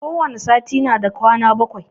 Kowane sati na da kwana bakwai.